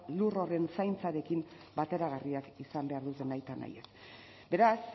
lur horren zaintzarekin bateragarriak izan behar dute nahitanahiez beraz